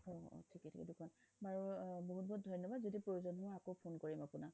ঠিক আছে বাৰু বহুত বহুত ধন্যবাদ যদি প্ৰয়োজন হয় আকৌ phone কৰিম আপোনাক